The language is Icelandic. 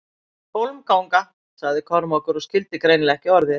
Hólmganga, sagði Kormákur og skildi greinilega ekki orðið.